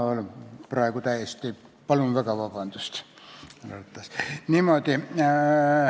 Lugupeetud rahvaesindajad!